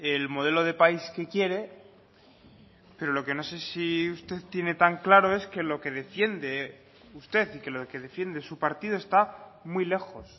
el modelo de país que quiere pero lo que no sé si usted tiene tan claro es que lo que defiende usted y que lo que defiende su partido está muy lejos